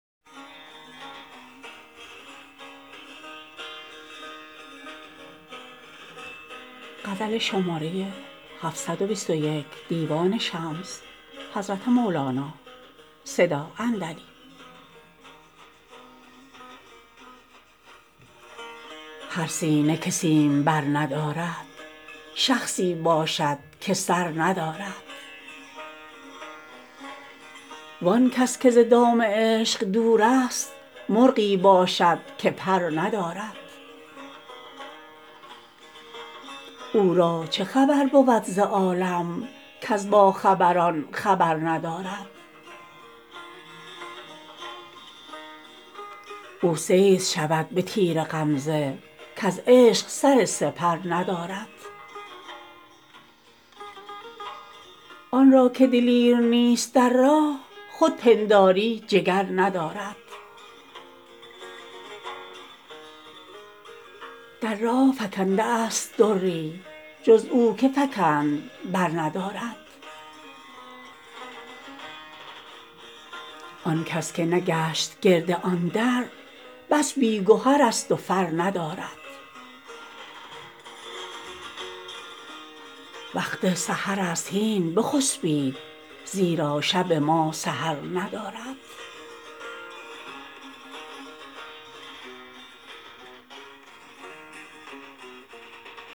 هر سینه که سیمبر ندارد شخصی باشد که سر ندارد وان کس که ز دام عشق دورست مرغی باشد که پر ندارد او را چه خبر بود ز عالم کز باخبران خبر ندارد او صید شود به تیر غمزه کز عشق سر سپر ندارد آن را که دلیر نیست در راه خود پنداری جگر ندارد در راه فکنده است دری جز او که فکند برندارد آن کس که نگشت گرد آن در بس بی گهرست و فر ندارد وقت سحرست هین بخسبید زیرا شب ما سحر ندارد